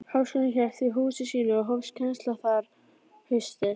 Háskólinn hélt því húsi sínu, og hófst kennsla þar haustið